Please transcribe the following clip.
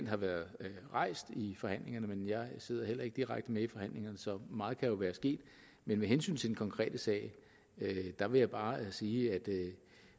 har været rejst i forhandlingerne men jeg sidder heller ikke direkte med i forhandlingerne så meget kan jo være sket men med hensyn til den konkrete sag vil jeg bare sige at